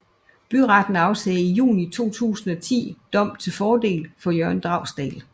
Byretten afsagde i juni 2010 dom til fordel for Jørgen Dragsdahl